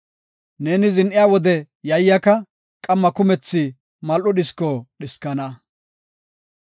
Neeni zin7iya wode yayyaka; qamma kumethi mal7o dhisko dhiskana.